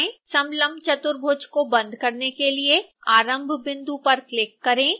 समलंब चतुर्भुज को बंद करने के लिए आरंभ बिंदु पर क्लिक करें